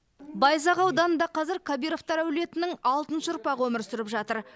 байзақ ауданында қазір кабировтар әулетінің алтыншы ұрпағы өмір сүріп жатыр